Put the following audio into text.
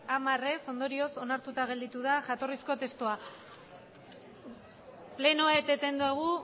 hamar ondorioz onartuta gelditu da jatorrizko testua plenoa eteten dugu